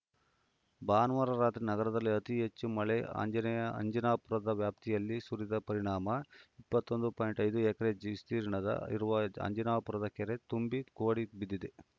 ಭಾನುವಾರ ರಾತ್ರಿ ನಗರದಲ್ಲಿ ಅತಿ ಹೆಚ್ಚು ಮಳೆ ಅಂಜೇನೆಯ ಅಂಜನಾಪುರದ ವ್ಯಾಪ್ತಿಯಲ್ಲಿ ಸುರಿದ ಪರಿಣಾಮ ಇಪ್ಪತ್ತೊಂ ದು ಪಾಯಿಂಟ್ ಐದು ಎಕರೆ ವಿಸ್ತೀರ್ಣ ಇರುವ ಅಂಜನಾಪುರ ಕೆರೆ ತುಂಬಿ ಕೋಡಿ ಬಿದ್ದಿದೆ